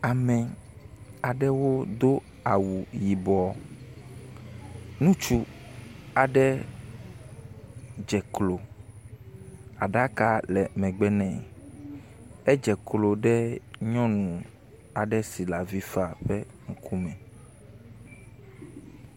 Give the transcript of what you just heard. Ame aɖewo do awu yibɔ. Nutsu aɖe dze klo, aɖaka le megbe nɛ. Edze klo ɖe nyɔnu aɖe si le avi fam ƒe ŋku me.